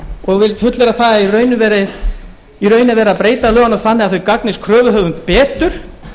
og vil fullyrða það að í raun er verið að breyta lögunum þannig að þau gagnist kröfuhöfum betur